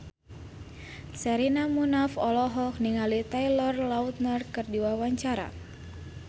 Sherina Munaf olohok ningali Taylor Lautner keur diwawancara